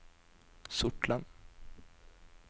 Sortland